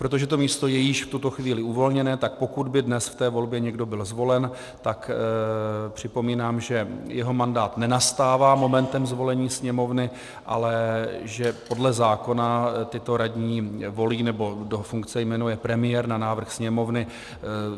Protože to místo je již v tuto chvíli uvolněné, tak pokud by dnes v té volbě někdo byl zvolen, tak připomínám, že jeho mandát nenastává momentem zvolení Sněmovny, ale že podle zákona tyto radní volí, nebo do funkce jmenuje premiér na návrh Sněmovny.